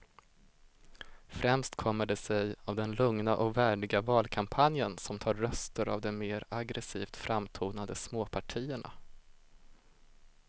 Främst kommer det sig av den lugna och värdiga valkampanjen som tar röster av de mer aggresivt framtonade småpartierna.